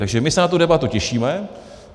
Takže my se na tu debatu těšíme.